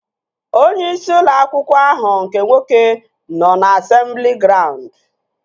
Onyeisi ụlọ akwụkwọ ahụ nke nwoke nọ na asemblị graund